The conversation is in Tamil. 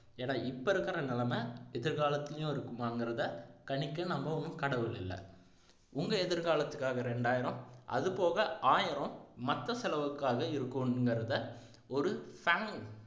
ஏன்னா இப்போ இருக்கிற நிலைமை எதிர்காலத்துலேயும் இருக்குமாங்கிறதை கணிக்க நம்ம ஒண்ணும் கடவுள் இல்லை உங்க எதிர்காலத்துக்காக ரெண்டாயிரம் அதுபோக ஆயிரம் மத்த செலவுக்காக இருக்குங்கிறத ஒரு